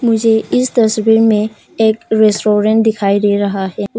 मुझे इस तस्वीर में एक रेस्टोरेंट दिखाई दे रहा है उस--